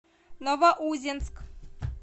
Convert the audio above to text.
новоузенск